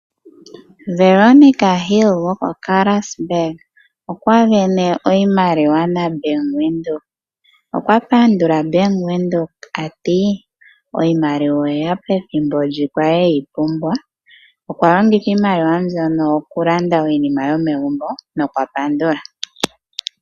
Veronika Hill goko Karasburg okwa vene oshimaliwa naBank Windhoek, okwa pandula Bank Windhoek a ti iimaliwa oye ya pethimbo ndi kwa li eyi pumbwa. Okwa longitha iimaliwa mbyono okulanda iinima yomegumbo nokwa pandula.